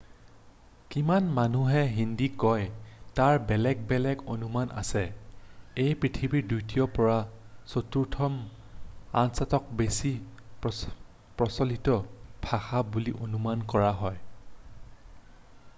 কিমান মানুহে হিন্দী কয় তাৰ বেলেগ বেলেগ অনুমান আছে ই পৃথিৱীৰ দ্বিতীয়ৰ পৰা চতুৰ্থতম আটাইতকৈ বেছি প্ৰচলিত ভাষা বুলি অনুমান কৰা হয়